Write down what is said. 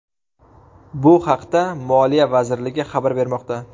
Bu haqda Moliya vazirligi xabar bermoqda .